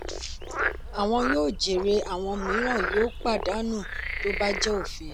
àwọn yóò jèrè àwọn mìíràn yóò pàdánù tó bá jẹ òfin.